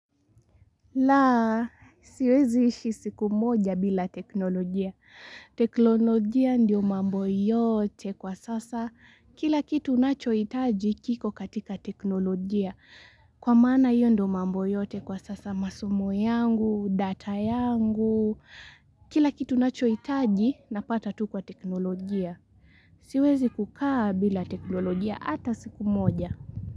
Laa, siwezi ishi siku moja bila teknolojia. Teknolojia ndio mambo yote kwa sasa. Kila kitu nachohitaji kiko katika teknolojia. Kwa maana hiyo ndio mambo yote kwa sasa masomo yangu, data yangu. Kila kitu nachoitaji napata tu kwa teknolojia. Siwezi kukaa bila teknolojia ata siku moja.